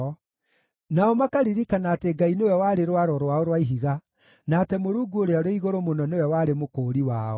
Nao makaririkana atĩ Ngai nĩwe warĩ Rwaro rwao rwa Ihiga, na atĩ Mũrungu Ũrĩa-ũrĩ-Igũrũ-Mũno nĩwe warĩ Mũkũũri wao.